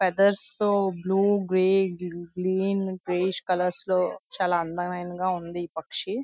feathers తో blue grey green greenish colours లో చాలా అందమైనాదిగా ఉంది ఈ పక్షి --